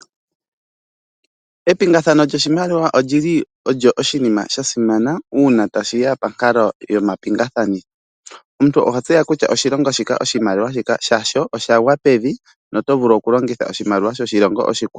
Epingathano lyoshimaliwa lili olyo oshinima shasimana uuna tashiya ponkalo yomapingakanitho . Omuntu oha tseya kutya oshilongo oshimaliwa shika shasho oshagwa pevi notovulu okulongitha oshimaliwa shoshilongo oshikwawo.